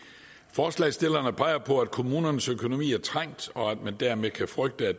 forslagsstillerne peger på at kommunernes økonomi er trængt og at man dermed kan frygte at